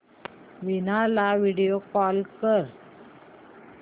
वीणा ला video call कर